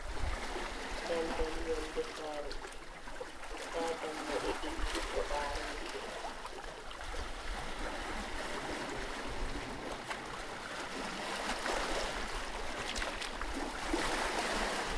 Dandal yonnde saree, daa dammuɗe ɗiɗi ɗo ɓaarootiri.